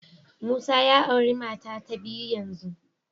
Musa ya auri mata ta biyu yanzu